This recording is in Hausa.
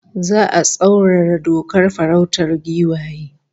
Za'a tsaurara dokar farautar giwaye